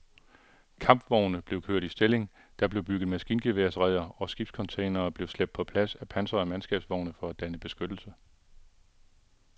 Kampvogne blev kørt i stilling, der blev bygget maskingeværsreder og skibscontainere blev slæbt på plads af pansrede mandskabsvogne for at danne beskyttelse.